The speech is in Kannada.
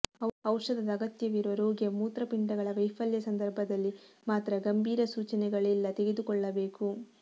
ಔಷಧದ ಅಗತ್ಯವಿರುವ ರೋಗಿಯ ಮೂತ್ರಪಿಂಡಗಳ ವೈಫಲ್ಯ ಸಂದರ್ಭದಲ್ಲಿ ಮಾತ್ರ ಗಂಭೀರ ಸೂಚನೆಗಳಿಲ್ಲ ತೆಗೆದುಕೊಳ್ಳಬೇಕು